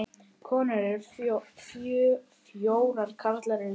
Konur eru fjórar, karlar sjö.